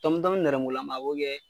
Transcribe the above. nɛrɛmugulama a bo kɛ